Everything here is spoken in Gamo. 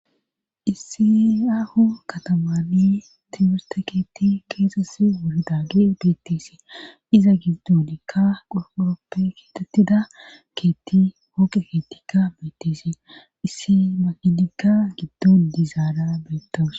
issi aho katamani timirste keetti keeses wuri daagi beettisi iza giddonkka uroppe kitattida keetti hookqe keettikka beettisi issi makinikka giddon dizaada beettoos